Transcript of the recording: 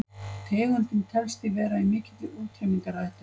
tegundin telst því vera í mikilli útrýmingarhættu